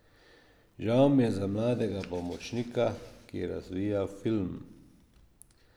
Žal mi je za mladega pomočnika, ki je razvijal film.